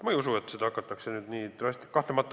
Ma ei usu, et seda hakatakse nüüd nii drastiliselt ära kasutama.